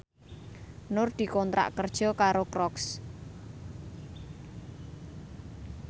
Nur dikontrak kerja karo Crocs